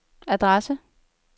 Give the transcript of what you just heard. adresse